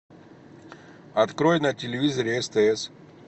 открой на телевизоре стс